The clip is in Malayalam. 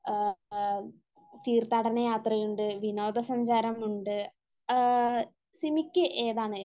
തീർത്ഥാടനയാത്ര ഉണ്ട് വിനോദ സഞ്ചാരം ഉണ്ട് . ആഹ് സിമിക്ക് ഏതാണ്